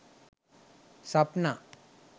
sapna